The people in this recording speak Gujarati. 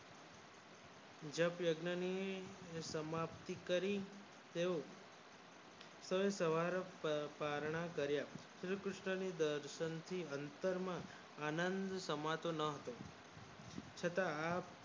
જપ યજ્ઞ ની સમાપ્તિ કરી તેઓ કાંઠ વાળા પારણા કાર્ય શ્રીકૃષ્ણ ના દર્શન અત્તર માં આનંદ સમાતો નો હોય છતાં આમ